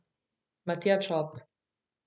Matija Čop.